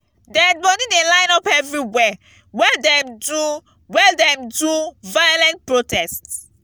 dead bodi dey line up everywhere wen dem do wen dem do violent protest.